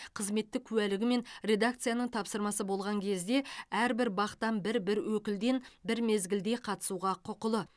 қызметтік куәлігі мен редакцияның тапсырмасы болған кезде әрбір бақ тан бір бір өкілден бір мезгілде қатысуға құқылы